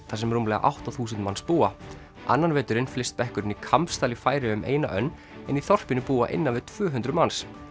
þar sem rúmlega átta þúsund manns búa annan veturinn flyst bekkurinn í Kambsdal í Færeyjum eina önn en í þorpinu búa innan við tvö hundruð manns